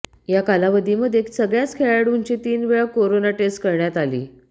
या कालावधीमध्ये सगळ्या खेळाडूंची तीनवेळा कोरोना टेस्ट करण्यात आली